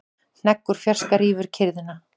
Hnegg úr fjarska rýfur kyrrðina.